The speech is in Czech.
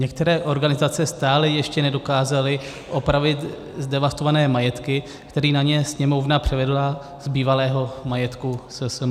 Některé organizace stále ještě nedokázaly opravit zdevastované majetky, které na ně Sněmovna převedla z bývalého majetku SSM.